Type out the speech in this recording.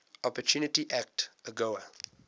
opportunity act agoa